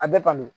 A bɛ kɔni